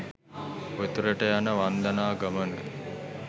උතුරට යන වන්දනා ගමන